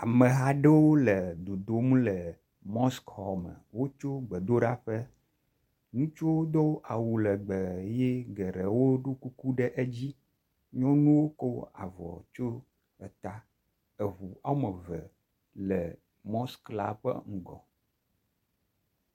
Ameha aɖewo le dodom le mɔsk xɔ me, wotso gbedolaƒe, ŋutsuwo do awu legbe ye geɖewo ɖo kuku ɖe dzi, nyɔnuwo ko avɔ tsyɔ eta. Eŋu ɔme eve le mɔsk la ƒe ŋgɔ.